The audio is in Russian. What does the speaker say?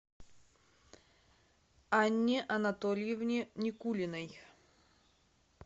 анне анатольевне никулиной